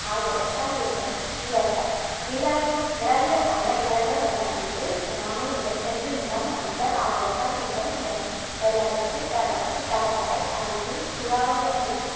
ஆகியவற்றல் ஏற்படும் இடர்கள் நிலவிய நிலவியல் சார்ந்த இடர்கள் நில அதிர்வு சுனாமி நிலச்சரிவு நிலம் அமிழ்தல் ஆகியவற்றால் ஏற்படும் இடர்கள் வெள்ளப்பெருக்கு வறட்சி கடற்கரை அரிப்பு சூறாவளி அலைகள்